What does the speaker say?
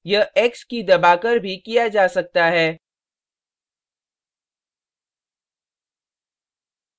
यह x की key दबाकर भी किया जा सकता है